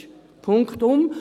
Punktum.